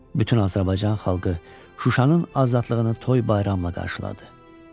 Bütün Azərbaycan xalqı Şuşanın azadlığını toy bayramla qarşıladı.